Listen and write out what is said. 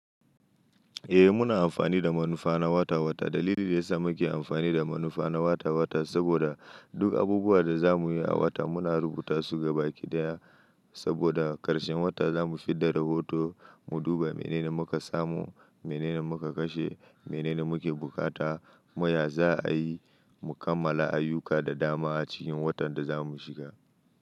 Eh muna amfani da manufa na wata-wata. Dalilin da yasa muke amfani da manufa na wata-wata saboda duk abubuwan da za mu yi a wata muna rubuta su gaba ɗaya saboda ƙarshen wata za mu fidda rahoto, mu duba menene muka samu, menene muka kashe, menene muke bukata. Kuma ya za a yi, mu kammala ayyuka da dama a cikin watan da za mu shiga.